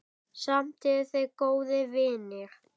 Samt eru þau góðir vinir.